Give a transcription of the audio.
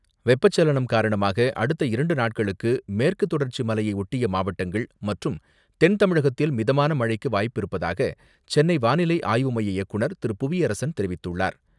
வெப்பச்சலனம் காரணமாக, அடுத்த இரண்டு நாட்களுக்கு மேற்குதொடர்ச்சி மலையை ஒட்டிய மாவட்டங்கள், மற்றும் தென் தமிழகத்தில் மிதமான மழைக்கு வாய்ப்பிருப்பதாக, சென்னை வானிலை ஆய்வுமைய இயக்குநர் திரு.புவியரசன் தெரிவித்துள்ளார்.